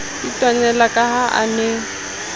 itwanela ka ha a ne